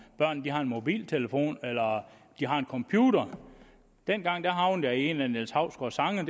børn har en mobiltelefon eller de har en computer dengang havnede jeg i en af niels hausgaards sange